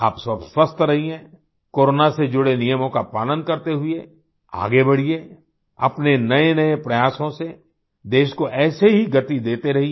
आप सब स्वस्थ रहिए कोरोना से जुड़े नियमों का पालन करते हुए आगे बढ़िए अपने नएनए प्रयासों से देश को ऐसे ही गति देते रहिए